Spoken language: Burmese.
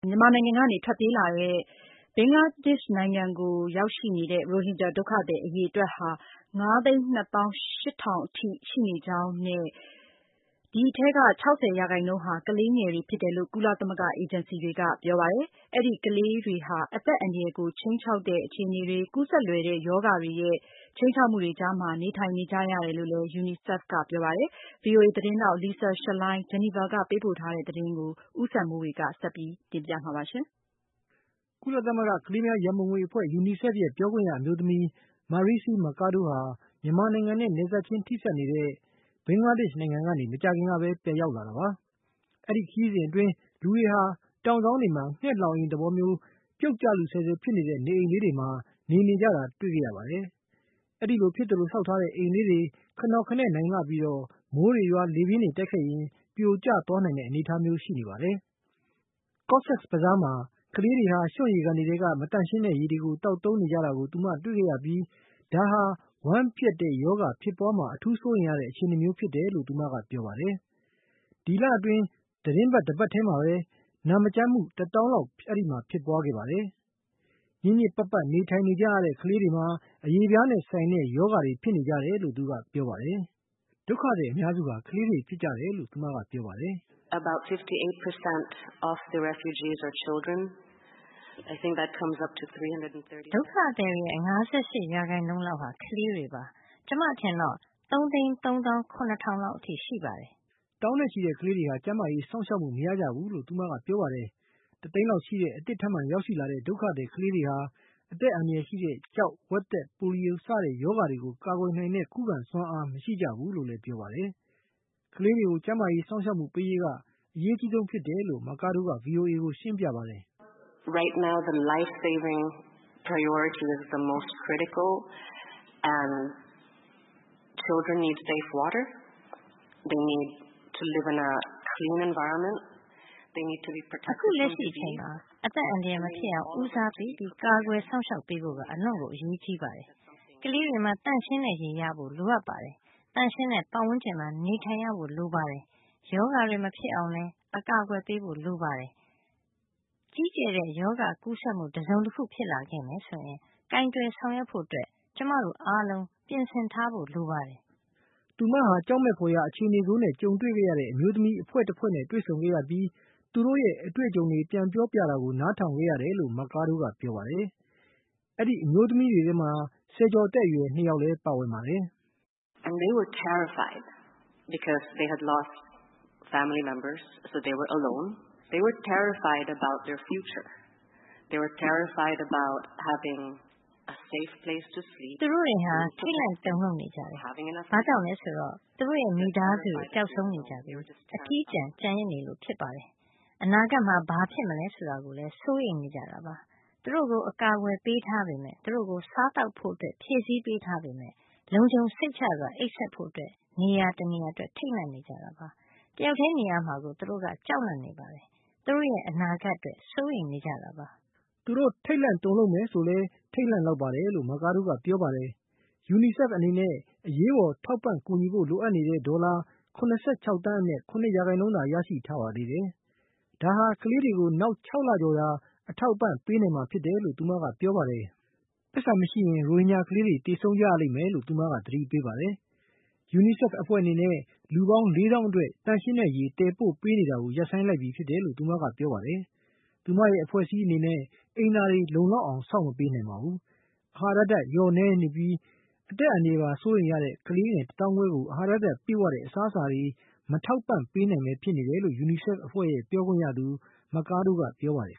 မြန်မာနိုင်ငံကနေ ထွက်ပြေးပြီး ဘင်္ဂလားဒေ့ရှ်နိုင်ငံကို ရောက်ရှိလာတဲ့ ရိုဟင်ဂျာ ဒုက္ခသည် အရေအတွက်ဟာ ၅၂၈,၀၀၀ အထိ မြင့်တက်လာတယ်လို့ ကုလသမဂ္ဂ အေဂျင်စီတွေက ပြောပါတယ်။ ဒီအထဲက ၆၀ ရာခိုင်နှုန်းဟာ ကလေးငယ်တွေ ဖြစ်ကြပါတယ်။ အဲဒီ ကလေးတွေဟာ အသက်အန္တရာယ်ကို ခြိမ်းခြောက်တဲ့ အခြေအနေတွေ၊ ကူးစက်လွယ်တဲ့ ရောဂါတွေရဲ့ ခြိမ်းခြောက်မှုတွေ ကြားမှာ နေထိုင်နေကြရတယ်လို့ ကမ္ဘာ့ကလေးများ ရံပုံငွေအဖွဲ့ UNICEF ကပြောပါတယ်။ Lisa Schlein ဂျီနီဗာကနေ ပေးပို့ထားတဲ့ သတင်းလွှာကို ဦးစံမိုးေ၀ က တင်ပြပေးပါလိမ့်မယ်။ ကုလသမဂ္ဂ ကလေးများရံပုံငွေ အဖွဲ့ ရဲ့ ပြောခွင့်ရ အမျိုးသမီး Marixie Mercado ဟာ မြန်မာနိုင်ငံနဲ့ နယ်စပ်ချင်း ထိစပ်နေတဲ့ ဘင်္ဂလားဒေ့ရှ် နိုင်ငံကနေ မကြာခင်ကဘဲ ပြန်ရောက်လာတာပါ။ အဲဒီခရီးစဉ်အတွင်း တောင်စောင်းတွေမှာ ငှက်လှောင်အိမ်မျိုး ပြုတ်ကျလုဆဲဆဲ ဖြစ်နေတဲ့ နေအိမ်လေးတွေမှာ နေနေကြတာကို တွေ့ခဲ့ရပါတယ်။ ဒီလို ဖြစ်သလို ဆောက်ထားတဲ့ အိမ်လေးတွေဟာ ခနော်ခနဲ့ နိုင်လှပြီး မိုးတွေရွာ လေပြင်းတွေ တိုက်ခဲ့ရင် ပြိုကျသွားနိုင်တဲ့ အနေအထားမျိုးရှိပါတယ်။ ကော့ဆက်ဘဇားမှာ ကလေးတွေဟာ ရွှွံ့ရေကန်တွေထဲက မသန့်ရှင်းတဲ့ ရေတွေ သောက်သုံးနေကြတာကို သူမ တွေ့ခဲ့ရပြီး ဒါဟာ ဝမ်းပျက်တဲ့ရောဂါ ဖြစ်ပွားမှာ အထူးစိုးရိမ်ရတဲ့ အခြေနေမျိုး ဖြစ်တယ်လို့ သူမက ပြောပါတယ်။ ဒီလအတွင်း သတင်းပတ် တပတ်ထဲ အတွင်းမှာပဲ နာမကျန်းဖြစ်မှု တသောင်းလောက် အဲဒီမှာ ဖြစ်ပွားခဲ့ပါတယ်။ ညစ်ညစ်ပတ်ပတ် နေထိုင်နေကြရတဲ့ အတွက် ကလေးတွေမှာ အရေပြားနဲ့ ဆိုင်တဲ့ ရောဂါတွေ ဖြစ်နေကြတယ်လို့ သူမကပြောပါတယ်။ ဒုက္ခသည် အများစုဟာ ကလေးတွေ ဖြစ်ကြတယ်လို့ သူမက ပြောပါတယ်။ “ ဒုက္ခသည်တွေရဲ့၅၈ ရာခိုင်နှုန်းခန့်ဟာ ကလေးတွေပါ။ ကျမ အထင်တော့ ၃၃၇,၀၀၀ လောက်အထိရှိပါတယ်။” သောင်းနဲ့ချီတဲ့ ကလေးတွေဟာ ကျန်းမာရေး စောင့်ရှောက်မှု မရကြဘူးလို့ သူမက ပြောပါတယ်။ တသိန်းလောက်ရှိတဲ့ အသစ်ထပ်မံ ရောက်ရှိလာတဲ့ ဒုက္ခသည် ကလေးတွေဟာ အသက်အန္တရာယ်ရှိတဲ့ ကျောက်၊ ဝက်သက်၊ ပိုလီယို စတဲ့ ရောဂါတွေကို ကာကွယ်နိုင်တဲ့ ခုခံစွမ်းအား မရှိကြဘူးလို့လည်း ပြောပါတယ်။ ကလေးတွေကို ကျန်းမာရေး စောင့်ရှောက်မှု ပေးရေးက အရေးအကြီးဆုံး ဖြစ်တယ်လို့ မာကားဒိုးက VOA ကို ရှင်းပြပါတယ်။ “ အခုလက်ရှိအချိန်မှာ အသက်အန္တရာယ်မဖြစ်အောင် ဦးစားပေး ကာကွယ်စောင့်ရှောက်ပေးဖို့က အလွန် အရေးကြီးပါတယ်။ ကလေးတွေမှာ သန့်ရှင်းတဲ့ရေ ရရှိဖို့ လိုအပ်ပါတယ်။ သန့်ရှင်းတဲ့ ပတ်ဝန်းကျင်မှာ နေထိုင်ရဖို့ လိုပါတယ်။ ရောဂါတွေ မဖြစ်အောင် ကာကွယ်ပေးဖို့ လိုပါတယ်။ ကြီးကျယ်တဲ့ ရောဂါကူးစက်မှု တစုံတခု ဖြစ်လာခဲ့မယ်ဆိုရင် ကိုင်တွယ်ဆောင်ရွက်ဖို့ ကျမတို့ အားလုံး ပြင်ဆင်ထားဖို့ လိုအပ်ပါတယ်။ ” သူမဟာ ကြောက်မက်ဖွယ်ရာ အခြေအနေဆိုးတွေနဲ့ ကြုံတွေ့ခဲ့ရတဲ့ အမျိုးသမီးတဖွဲ့နဲ့ တွေ့ဆုံခဲ့ပြီး သူတို့ရဲ့ အတွေ့အကြုံတွေ ပြန်ပြောပြတာကို နားထောင်ခဲ့ရတယ်လို့ မာကာဒို က ပြောပါတယ်။ အဲဒီ အမျိုးသမီးတွေထဲမှာ ဆယ်ကျော်သက် အရွယ် ၂ ယောက်လည်း ပါဝင်ပါတယ်။ “ သူတွေတတွေဟာ ထိတ်လန့် တုန်လှုပ်နေကြတယ်။ ဘာကြောင့်လည်း ဆိုတော့ သူတို့ရဲ့ မိသားစုတွေ ပျောက်ဆုံးနေကြပြီး အထီးကျန် ကျန်ရစ်နေကြလို့ ဖြစ်ပါတယ်။ အနာဂတ်မှာ ဘာဖြစ်မလဲ ဆိုတာကို စိုးရိမ်ထိတ်လန့် နေကြတာပါ။ သူတို့ကို အကာအကွယ် ပေးထားပေမယ့် သူတို့ကို စားသောက်ဖို့ ဖြည့်ဆည်း ပေးထားပေမယ့် လုံခြုံစိတ်ချစွာ အိပ်စက်ဖို့ နေရာ တနေရာအတွက် ထိတ်လန့်နေကြတာပါ။ တယောက်တည်း နေရမှာကို သူတို့ ကြောက်လန့်နေကြပါတယ်။ သူတို့ရဲ့ အနာဂတ်အတွက် စိုးရိမ်နေကြပါတယ်။” သူတို့ ထိတ်လန့်တုန်လှုပ် မယ်ဆိုလည်း ထိတ်လန့်လောက်ပါတယ်လို့ မာကာဒို က ပြောပါတယ်။ UNICEF အနေနဲ့ အရေးပေါ် ထောက်ပံ့ကူညီဖို့ လိုအပ်နေတဲ့ ဒေါ်လာ ၇၆ သန်းအနက် ၇ ရာခိုင်နှုန်းသာ ရရှိထားပါသေးတယ်။ ဒါဟာ ကလေးတွေကို နောက် ၆ လကျော် သာ အထောက်အပံ့ ပေးနိုင်မှာ ဖြစ်တယ်လို့ သူမက ပြောပါတယ်။ ပိုက်ဆံမရှိရင် ရိုဟင်ဂျာ ကလေးတွေ သေဆုံးကြရလိမ့်မယ်လို့လည်း သူမက သတိပေးပါတယ်။ UNICEF အဖွဲ့အနေနဲ့ လူပေါင်း ၄ သောင်းအတွက် သန့်ရှင်းတဲ့ ရေ သယ်ပို့ပေးနေတာကို ရပ်ဆိုင်းလိုက်ပြီလို့ သူမကပြောပါတယ်။ သူမရဲ့ အဖွဲ့အစည်းအနေနဲ့ အိမ်သာတွေ လုံလောက်အောင် ဆောက်မပေးနိုင်ပါဘူး။ အဟာရဓါတ် လျော့နည်းပြီး အသက်အန္တရာယ်ပါ စိုးရိမ်ရတဲ့ ကလေးငယ် တသောင်းခွဲကို အဟာရ ဓါတ်ပြည့်ဝတဲ့ အစားအစာတွေ မထောက်ပံ့နိုင်ဘဲ ဖြစ်နေတယ်လို့ UNICEF အဖွဲ့ရဲ့ ပြောခွင့်ရသူ မာကာဒိုး က ပြောပါတယ်